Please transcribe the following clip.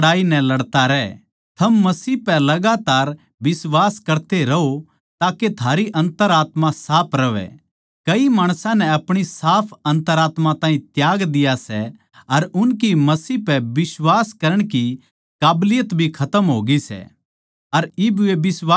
थम मसीह पै लगातार बिश्वास करते रहो ताके थारी अन्तरात्मा साफ रहवै कई माणसां नै अपणी साफ अन्तरात्मा ताहीं त्याग दिया सै अर उनकी मसीह पै बिश्वास करण की काबलियत भी खतम होगी सै अर इब वे बिश्वास कोनी करते